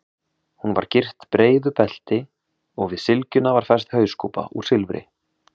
Hún var gyrt breiðu belti og við sylgjuna var fest hauskúpa úr silfri.